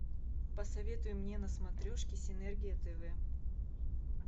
посоветуй мне на смотрешке синергия тв